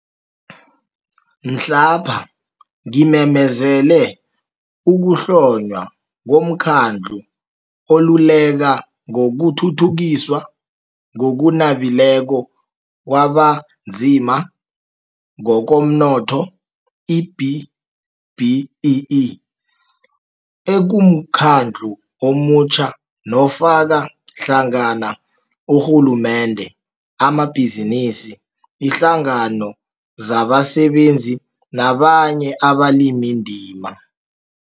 Mhlapha Ngimemezele Ukuhlonywa koMkhandlu oLuleka ngokuThuthukiswa ngokuNabileko kwabaNzima ngokomNotho, i-B-BEE, ekumkhandlu omutjha nofaka hlangana urhulumende, amabhizinisi, iinhlangano zabasebenzi nabanye abalimindima.